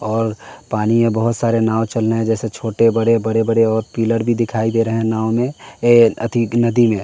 और पानी है बहुत सारे नाव चल रहे हैं जैसे छोटे बड़े बड़े बड़े और पिलर भी दिखाई दे रहे हैं नाव में ये नदी में।